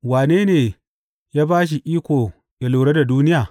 Wane ne ya ba shi iko yă lura da duniya?